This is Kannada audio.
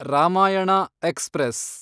ರಾಮಾಯಣ ಎಕ್ಸ್‌ಪ್ರೆಸ್